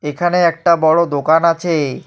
এখানে একটা বড় দোকান আছে।